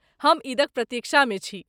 हम ईदक प्रतीक्षामे छी।